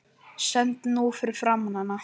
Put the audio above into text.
Stend nú fyrir framan hana.